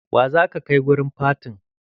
Wa za ka kai wurin fatin?